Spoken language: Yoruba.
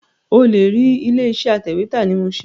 O lè rí ilé iṣẹ́ atẹ̀wẹ́tà ní Mushin